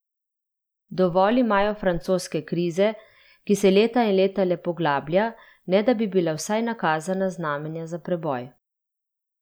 Dovolj imajo francoske krize, ki se leta in leta le poglablja, ne da bi bila vsaj nakazana znamenja za preboj.